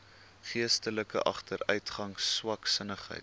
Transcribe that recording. geestelike agteruitgang swaksinnigheid